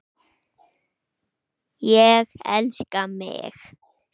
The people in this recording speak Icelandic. Ég elska mig!